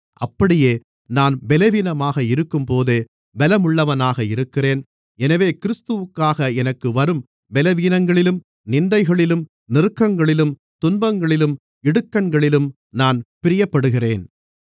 அப்படியே நான் பலவீனமாக இருக்கும்போதே பலமுள்ளவனாக இருக்கிறேன் எனவே கிறிஸ்துவுக்காக எனக்கு வரும் பலவீனங்களிலும் நிந்தைகளிலும் நெருக்கங்களிலும் துன்பங்களிலும் இடுக்கண்களிலும் நான் பிரியப்படுகிறேன்